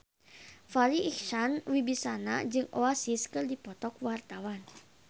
Farri Icksan Wibisana jeung Oasis keur dipoto ku wartawan